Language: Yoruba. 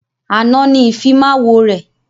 Àná ni Ìfimáwo rẹ̀